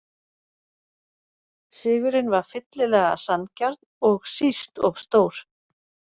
Sigurinn var fyllilega sanngjarn og síst of stór.